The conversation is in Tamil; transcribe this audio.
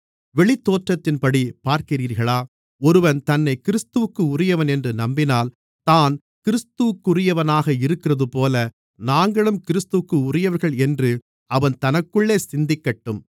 வெளித்தோற்றத்தின்படி பார்க்கிறீர்களா ஒருவன் தன்னைக் கிறிஸ்துவிற்குரியவன் என்று நம்பினால் தான் கிறிஸ்துவிற்குரியவனாக இருக்கிறதுபோல நாங்களும் கிறிஸ்துவிற்குரியவர்கள் என்று அவன் தனக்குள்ளே சிந்திக்கட்டும்